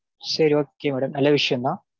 சரி okay madam. நல்ல விஷயம்தா